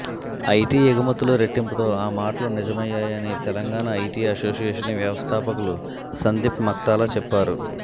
IT ఎగుమతులు రెట్టింపుతో ఆ మాటలు నిజమయ్యాయని తెలంగాణ ఐటీ అసోసియేషన్ వ్యవస్థాపకులు సందీప్ మక్తాల చెప్పారు